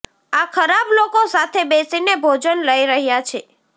આ ખરાબ લોકો સાથે બેસીને ભોજન લઈ રહ્યાં છે